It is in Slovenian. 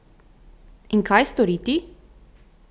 In kaj storiti?